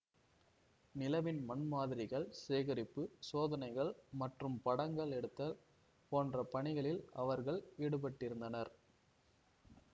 நிலவின் மண் மாதிரிகள் சேகரிப்பு சோதனைகள் மற்றும் படங்கள் எடுத்தல் போன்ற பணிகளில் அவர்கள் ஈடுபட்டிருந்தனர்